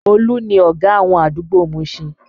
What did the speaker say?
Olu ni ọ̀gá àwọn àdúgbò Mushin